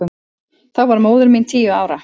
Þá var móðir mín tíu ára.